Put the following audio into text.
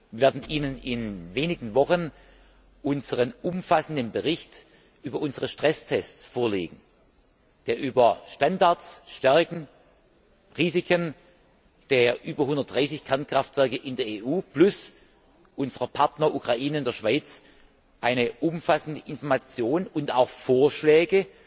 Wir werden Ihnen in wenigen Wochen unseren umfassenden Bericht über unsere Stresstests vorlegen, der über Standards, Stärken, Risiken der über 130 Kernkraftwerke in der EU plus unserer Partner in der Ukraine und in der Schweiz eine umfassende Information und auch Vorschläge